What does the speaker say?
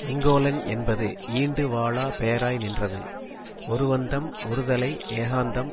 வெங்கோலன் என்பது ஈண்டு வாளா பெயராய் நின்றது ஒருவந்தம் ஒருதலை ஏகாந்தம்